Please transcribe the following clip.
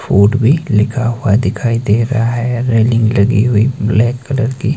Food भी लिखा हुआ दिखाई दे रहा है रेलिंग लगी हुई ब्लैक कलर की।